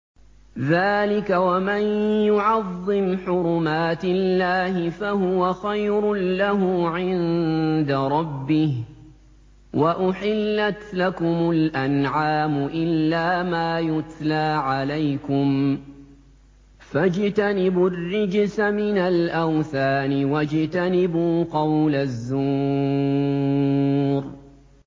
ذَٰلِكَ وَمَن يُعَظِّمْ حُرُمَاتِ اللَّهِ فَهُوَ خَيْرٌ لَّهُ عِندَ رَبِّهِ ۗ وَأُحِلَّتْ لَكُمُ الْأَنْعَامُ إِلَّا مَا يُتْلَىٰ عَلَيْكُمْ ۖ فَاجْتَنِبُوا الرِّجْسَ مِنَ الْأَوْثَانِ وَاجْتَنِبُوا قَوْلَ الزُّورِ